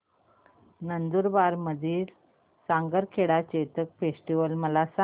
नंदुरबार मधील सारंगखेडा चेतक फेस्टीवल मला सांग